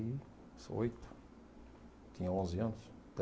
e oito, tinha onze anos,